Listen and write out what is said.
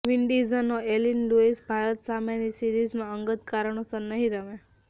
વિન્ડીઝનો Evin Lewis Bharat સામેની સિરીઝમાં અંગત કારણોસર નહીં રમે